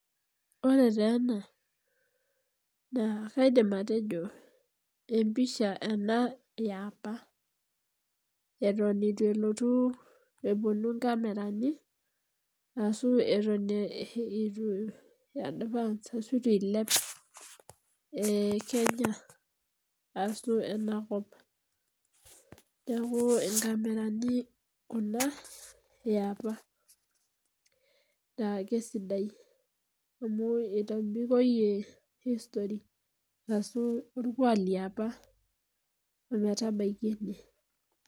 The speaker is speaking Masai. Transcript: Ore taa ena naa kaidim atejo empisha ena ee apa eton eeitu epuonu nkamerani ashu eton eitu advanced ashu eitu eilep Kenya ashu ena top niaku nkameranu kuna ee apa naa kesidai amu eitobikoyie history ashu orkuak Lee apa oo metabaiki ene